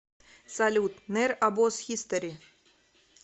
салют нер обоз хистори